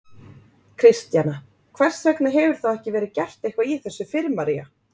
Kristjana: Hvers vegna hefur þá ekki verið gert eitthvað í þessu fyrr María?